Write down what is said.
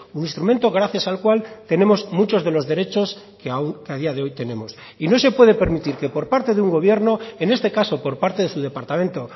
un instrumento gracias al cual tenemos muchos de los derechos que a día de hoy tenemos y no se puede permitir que por parte de un gobierno en este caso por parte de su departamento